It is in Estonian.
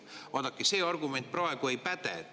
Vaadake, see argument praegu ei päde.